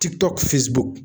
Tikitɔku fesibuku